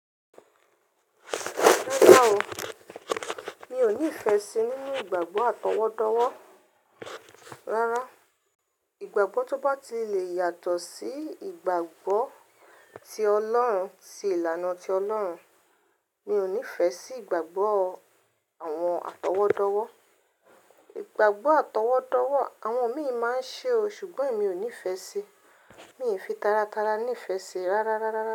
Rárá o, mi ò nífẹ̀ẹ́ sí nínú ìgbàgbọ́ àtọwọ́dọ́wọ́. Rárá, ìgbàgbọ́ tó bá ti le yàtọ̀ sí ìgbàgbọ́ ti Ọlọ́run, ti ìlànà ti Ọlọ́run, mi ò nífẹ̀ẹ́ sí ìgbàgbọ́ àwọn àtọwọ́dọ́wọ́. Ìgbàgbọ́ àtọwọ́dọ́wọ́ àwọn mi máa ń ṣe o, ṣùgbọ́n emi ò nífẹ̀ẹ́ sí i. Mi ò fi taratara nífẹ̀ẹ́ sí i rárá, rárá, rárá.